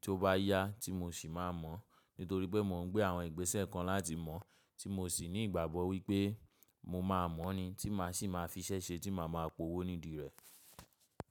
ti ó bá yá tí mò sì máa mọ̀. Nítorí pé mò ń gbé àwọn ìgbésẹ̀ kan láti mọ̀ tí mò sì ní ìgbàgbọ́ wípé mo máa mọ̀ ni tí mà sì máa fi iṣẹ́ ṣe tí mà máa po owó nídìí rẹ̀.